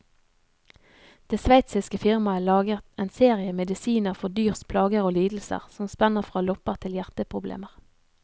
Det sveitsiske firmaet lager en serie medisiner for dyrs plager og lidelser, som spenner fra lopper til hjerteproblemer.